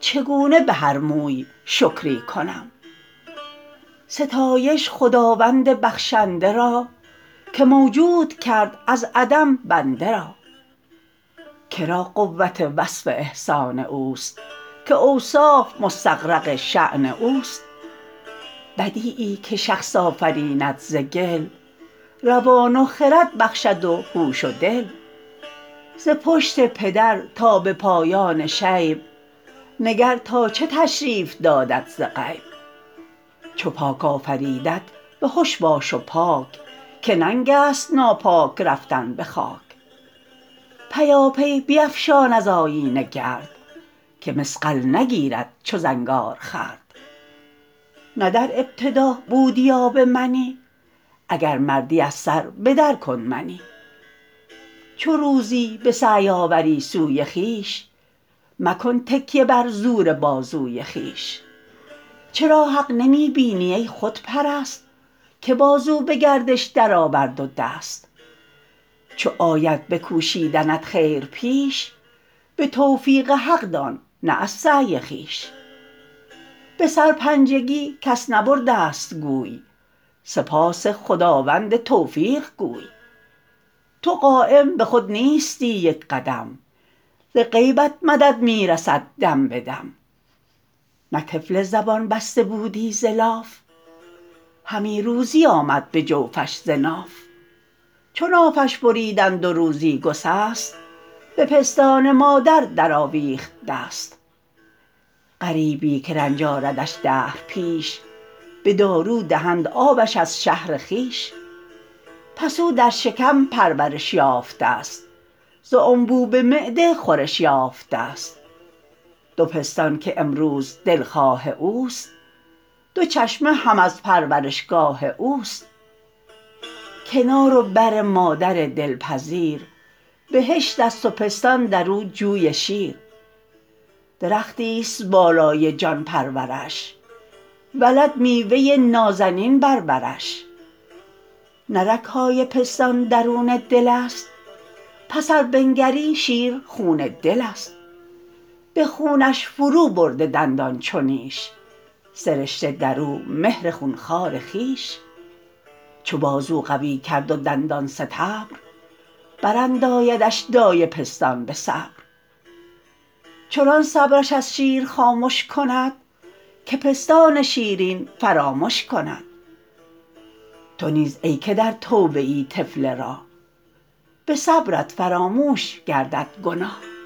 چگونه به هر موی شکری کنم ستایش خداوند بخشنده را که موجود کرد از عدم بنده را که را قوت وصف احسان اوست که اوصاف مستغرق شأن اوست بدیعی که شخص آفریند ز گل روان و خرد بخشد و هوش و دل ز پشت پدر تا به پایان شیب نگر تا چه تشریف دادت ز غیب چو پاک آفریدت بهش باش و پاک که ننگ است ناپاک رفتن به خاک پیاپی بیفشان از آیینه گرد که مصقل نگیرد چو زنگار خورد نه در ابتدا بودی آب منی اگر مردی از سر به در کن منی چو روزی به سعی آوری سوی خویش مکن تکیه بر زور بازوی خویش چرا حق نمی بینی ای خودپرست که بازو به گردش درآورد و دست چو آید به کوشیدنت خیر پیش به توفیق حق دان نه از سعی خویش به سرپنجگی کس نبرده ست گوی سپاس خداوند توفیق گوی تو قایم به خود نیستی یک قدم ز غیبت مدد می رسد دم به دم نه طفل زبان بسته بودی ز لاف همی روزی آمد به جوفش ز ناف چو نافش بریدند و روزی گسست به پستان مادر در آویخت دست غریبی که رنج آردش دهر پیش به دارو دهند آبش از شهر خویش پس او در شکم پرورش یافته ست ز انبوب معده خورش یافته ست دو پستان که امروز دلخواه اوست دو چشمه هم از پرورشگاه اوست کنار و بر مادر دلپذیر بهشت است و پستان در او جوی شیر درختی است بالای جان پرورش ولد میوه نازنین بر برش نه رگ های پستان درون دل است پس ار بنگری شیر خون دل است به خونش فرو برده دندان چو نیش سرشته در او مهر خون خوار خویش چو بازو قوی کرد و دندان ستبر براندایدش دایه پستان به صبر چنان صبرش از شیر خامش کند که پستان شیرین فرامش کند تو نیز ای که در توبه ای طفل راه به صبرت فراموش گردد گناه